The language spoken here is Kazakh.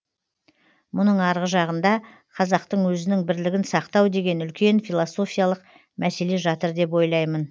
мұның арғы жағында қазақтың өзінің бірлігін сақтау деген үлкен философиялық мәселе жатыр деп ойлаймын